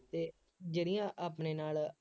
ਅਤੇ ਜਿਹੜੀਆਂ ਆਪਣੇ ਨਾਲ